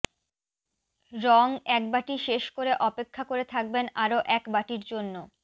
রং এক বাটি শেষ করে অপেক্ষা করে থাকবেন আরও এক বাটির জন্য